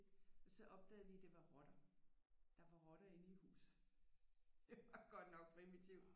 Så opdagede vi det var rotter der var rotter inde i huset det var godt nok primitivt